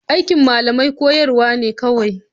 Aikin malamai koyarwa ne kawai.